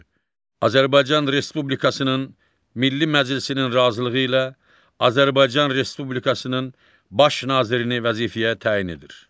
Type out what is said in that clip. Azərbaycan Respublikasının Milli Məclisinin razılığı ilə Azərbaycan Respublikasının baş nazirini vəzifəyə təyin edir.